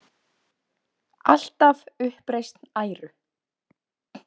Alltaf „uppreisn æru“.